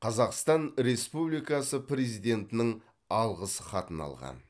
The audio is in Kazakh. қазақстан республикасы президентінің алғыс хатын алған